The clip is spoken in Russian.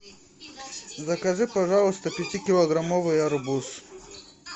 закажи пожалуйста пятикилограммовый арбуз